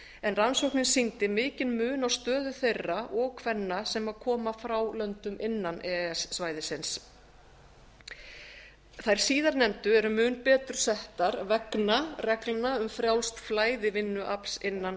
en rannsóknin sýndi mikinn mun á stöðu þeirra og kvenna sem koma frá löndum innan e e s svæðisins þær síðarnefndu eru mun betur settar vegna reglna um frjálst flæði vinnuafls innan